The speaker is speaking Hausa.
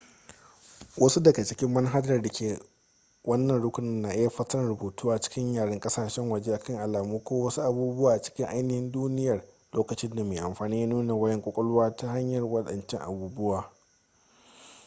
wasu daga cikin manahajar da ke wannan rukuni na iya fassarar rubutu a cikin yaren kasashen waje akan alamu ko wasu abubuwa a cikin ainihin duniyar lokacin da mai amfani ya nuna wayan kwakwalwa ta hanyar wadancan abubuwa